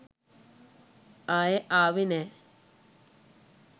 ආයෙ ආවෙ නෑ.